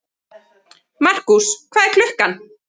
Markús, hvað er klukkan?